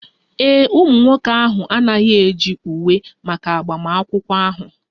Ee e, ụmụ nwoke ahụ anaghị eji uwe maka agbamakwụkwọ ahụ